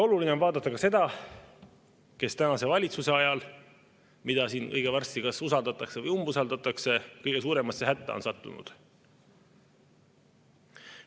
Oluline on vaadata ka seda, kes tänase valitsuse ajal, mida siin õige varsti kas usaldatakse või umbusaldatakse, kõige suuremasse hätta on sattunud.